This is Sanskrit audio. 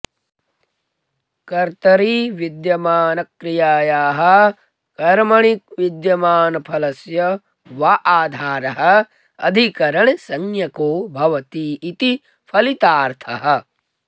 कर्तरि विद्यमानक्रियायाः कर्मणि विद्यमानफलस्य वा आधारः अधिकरणसंज्ञको भवतीति फलितार्थः